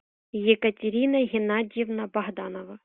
екатерина геннадьевна богданова